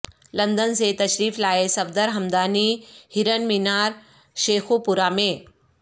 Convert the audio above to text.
London سے تشریف لائے صفدر ھمدانی ہرن مینار شیخوپورہ میں